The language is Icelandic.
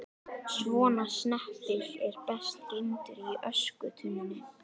Svona snepill er best geymdur í öskutunnunni.